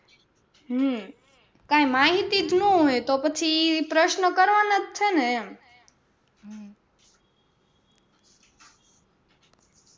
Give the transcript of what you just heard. હમ કાંઈ માહિતી જ ન હોય તો પછી પ્રશ્ર્નો કરવાના છે ને એમ હમ